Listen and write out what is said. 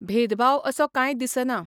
भेदभाव असो काय दिसना.